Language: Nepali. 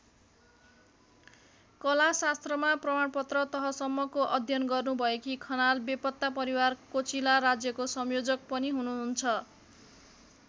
कलाशास्त्रमा प्रमाणपत्र तहसम्मको अध्ययन गर्नुभएकी खनाल बेपत्ता परिवार कोचिला राज्यको संयोजक पनि हुनुहुन्छ।